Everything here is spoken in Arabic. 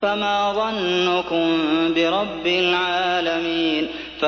فَمَا ظَنُّكُم بِرَبِّ الْعَالَمِينَ